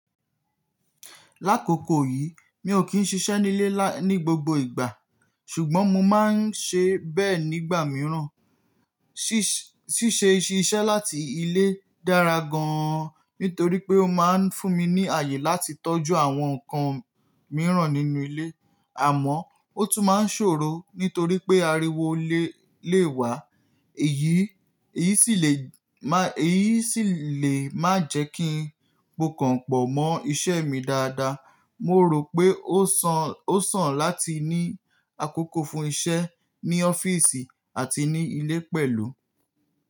Lákòókò yìí, mi ò kí ń ṣiṣẹ́ nílé ní gbogbo ìgbà, ṣùgbọ́n mo máa n ṣe bẹ́ẹ̀ nígbà míràn. Síṣẹ́ ṣíṣe iṣẹ́ láti ilé dára gan an nítorí pé ó máa n fún mi ní ààyè láti tọ́jú àwọn nǹkan míràn nínú ilé, àmọ́ ó tún máa n ṣòro nítorí pé ariwo lé lè wá, èyí sì lè má jẹ́ kí n po kànpọ̀ mọ́ iṣẹ́ mi dáadáa. Mo rò pé ó sàn láti ní àkókò fún iṣẹ́ ní ọ́fíìsì àti ní ilé pẹ̀lú.